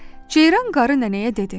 Ceyran qarı nənəyə dedi: